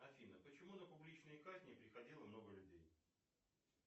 афина почему на публичные казни приходило много людей